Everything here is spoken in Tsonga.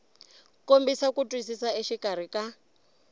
kombisa ku twisisa exikarhi ka